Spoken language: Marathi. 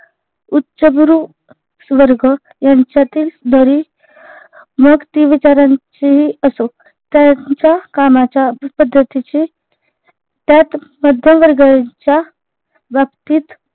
उच्चगुरु वर्ग यांच्यातील मग ती विचारांची असो त्यांच्या कामाच्या पद्धतीचे त्यात मध्यम वर्गाच्या बाबतीत